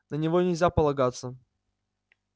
на него нельзя полагаться